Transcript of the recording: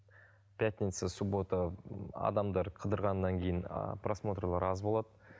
пятница суббота ыыы адамдар қыдырғаннан кейін а просмотрлар аз болады